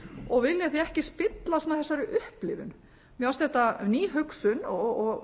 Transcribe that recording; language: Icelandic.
og vilja því ekki spilla svona þessari upplifun mér fannst þetta ný hugsun og